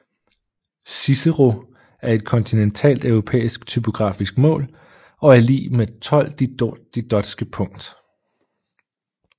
Cicero er et kontinentalt europæisk typografisk mål og er lig med 12 didotske punkt